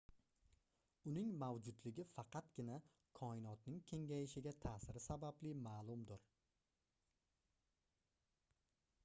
uning mavjudligi faqatgina koinotning kengayishiga taʼsiri sababli maʼlumdir